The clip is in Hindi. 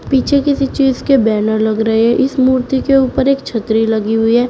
पीछे किसी चीज के बैनर लग रहे हैं इस मूर्ति के ऊपर एक छतरी लगी हुई है।